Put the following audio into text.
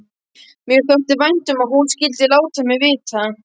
Mér þótti vænt um að hún skyldi láta mig vita.